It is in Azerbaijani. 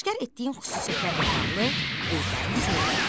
Aşkar etdiyin xüsusiyyətlərlə bağlı qeydlərini söylə.